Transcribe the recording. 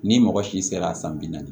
Ni mɔgɔ si sera a san bi naani